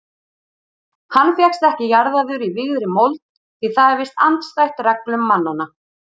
Hann fékkst ekki jarðaður í vígðri mold því það er víst andstætt reglum mannanna.